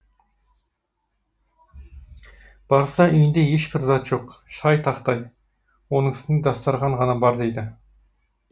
барса үйінде ешбір зат жоқ шай тақтай оның үстінде дастарқан ғана бар дейді